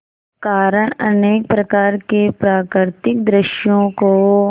कारण अनेक प्रकार के प्राकृतिक दृश्यों को